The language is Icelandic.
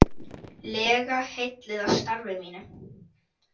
lega heilluð af starfi mínu.